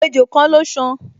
Ejò kan ló san